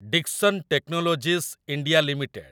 Dixon technologies India limited